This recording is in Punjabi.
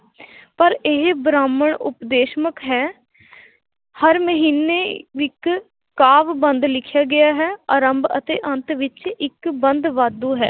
ਪਰ ਇਹ ਬ੍ਰਾਹਮਣ ਉਪਦੇਸ਼ਮਕ ਹੈ ਹਰ ਮਹੀਨੇ ਇੱਕ ਕਾਵਿ ਬੰਧ ਲਿਖਿਆ ਗਿਆ ਹੈ ਆਰੰਭ ਅਤੇ ਅੰਤ ਵਿੱਚ ਇੱਕ ਬੰਧ ਵਾਧੂ ਹੈ l